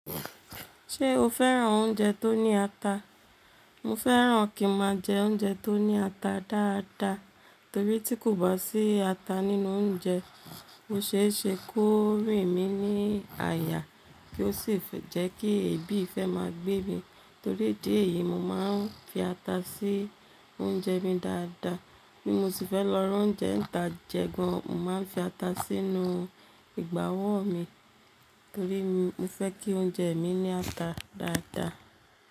Ṣé o fẹ́ran oúnjẹ tó ní ata? Mo fẹ́ran kí n máa jẹ oúnjẹ tó ní ata dáadáa, torí tí kò bá sí ata nínú oúnjẹ, ó ṣe é ṣe kó rìn mí ní àyà kí ó sì fe jẹ́ kí èébì fẹ́ máa gbé mi, torí idí ẹ̀yìí mo máa ń fi ata sí oúnjẹ mi dáadáa, bí mo sì fẹ́ lọ ra oúnjẹ ń tà jẹ gan-an, mo máa ń fi ata sínú ìgbà wó mi, torí mo fẹ́ kí oúnjẹ mi ní ata dáadáa.